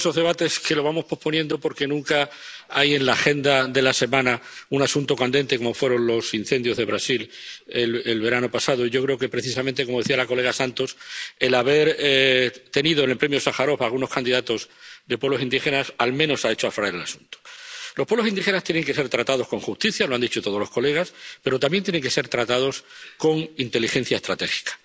Señor presidente, este es uno de esos debates que vamos posponiendo porque nunca hay en la agenda de la semana un asunto candente, como fueron los incendios de Brasil el verano pasado. Yo creo que, precisamente, como decía la diputada Santos, el haber tenido en el Premio Sájarov algunos candidatos de pueblos indígenas al menos ha hecho aflorar el asunto. Los pueblos indígenas tienen que ser tratados con justicia ⸺lo han dicho todos los colegas⸺, pero también tienen que ser tratados con inteligencia estratégica.